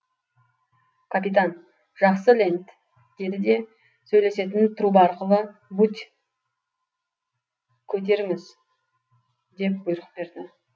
капитан жақсы ленд деді де сөйлесетін труба арқылы будь көтеріңіз деп бұйрық берді